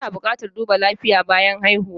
Ana buƙatar duba lafiya bayan haihuwa.